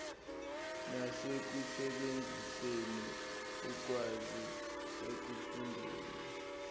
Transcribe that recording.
nasekusebenziseni ukwazi ekufundeni